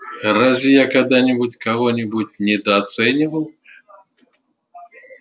разве я когда-нибудь кого-нибудь недооценивал